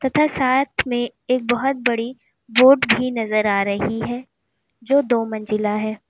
तथा साथ में एक बहोत बड़ी वोट भी नजर आ रही है जो दो मंजिला है।